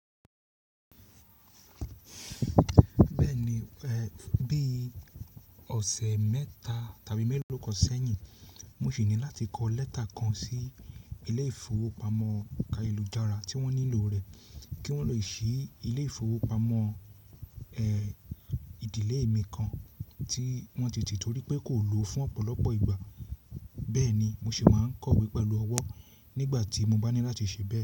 Bẹ́ẹ̀ ni, bí ọ̀sẹ̀ mẹ́ta tàbí mẹ́lòó kan ṣẹ́yìn, mo sì ní láti kọ lẹ́tà kan sí ilé ìfowópamọ́ ayélujára tí wọ́n nílò rẹ̀ kí wọ́n le ṣí ilé ìfowópamọ́, ẹ̀, ìdílé mi kan tí wọ́n tètè torí pé kò lòó fún ọ̀pọ̀lọpọ̀ ìgbà. Bẹ́ẹ̀ ni, mo sì máa ń kọ̀wé pẹ̀lú ọwọ́ nígbà tí mo bá ní láti ṣẹ̀bẹ̀